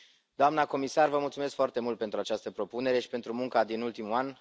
Doamnă comisar, vă mulțumesc foarte mult pentru această propunere și pentru munca din ultimul an.